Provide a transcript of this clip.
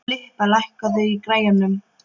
Filippa, lækkaðu í græjunum.